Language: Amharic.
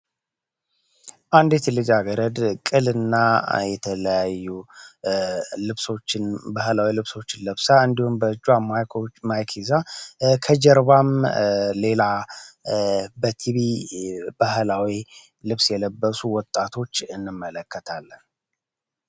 አንዲት ልጅ ገረድ ቅል እና የተለያዩ ባህላዊ ልብሶችን ለብሳ እንዲሁን በእጇ ማይኪዛ ከጀርባም ሌላ በቲቢ ባህላዊ ልብስ የለበሱ ወጣቶች እንመለከታለ።